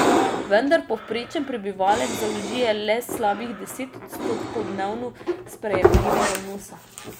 Vendar povprečen prebivalec zaužije le slabih deset odstotkov dnevno sprejemljivega vnosa.